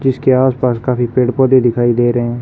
जिसके आसपास काफी पेड़-पौधे दिखाई दे रहे हैं।